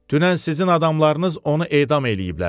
Dünən sizin adamlarınız onu edam eləyiblər.